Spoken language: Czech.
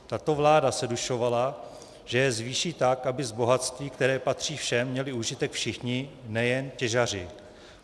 Tato vláda se dušovala, že je zvýší tak, aby z bohatství, které patří všem, měli užitek všichni, nejen těžaři.